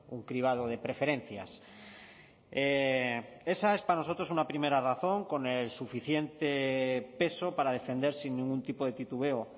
un cribado de preferencias esa es para nosotros una primera razón con el suficiente peso para defender sin ningún tipo de titubeo